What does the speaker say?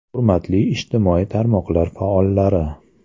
Hurmatli ijtimoiy tarmoqlar faollari!